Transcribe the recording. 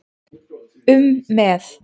um með.